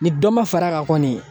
Ni dɔ ma fara a kan kɔni